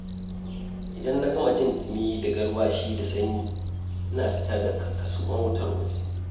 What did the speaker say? Idan na gama jin ɗumi da garwashi da sanyi, ina fita da kaskon wutar waje.